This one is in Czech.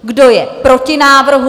Kdo je proti návrhu?